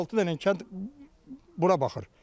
5-6 dənə kənd bura baxır.